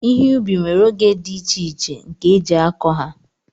ihe ubi nwere oge dị iche iche nke eji akọ ha